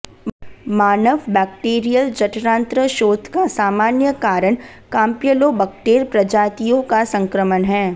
मानव bacterial जठरांत्र शोथ का सामान्य कारण काम्प्य्लोबक्टेर प्रजातियों का संक्रमण हैं